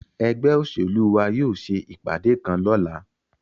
Egbe oselu wa yóò se ipade kan lọla